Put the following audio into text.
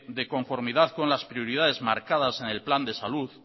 de conformidad con las prioridades marcadas en el plan de salud